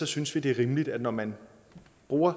synes vi det er rimeligt når man bruger